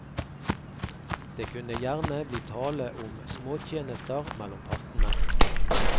Det kunne gjerne bli tale om småtjenester mellom partene.